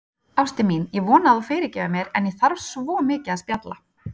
Ástin mín, ég vona að þú fyrirgefir mér, en ég þarf svo mikið að spjalla.